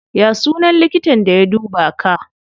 Ya sunan likitan da ya duba ka?